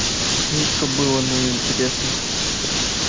жутко было но и интересно